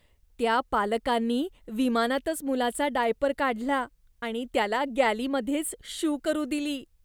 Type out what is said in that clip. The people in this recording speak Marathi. त्या पालकांनी विमानातच मुलाचा डायपर काढला आणि त्याला गॅलीमध्येच शू करू दिली.